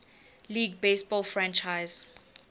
league baseball franchise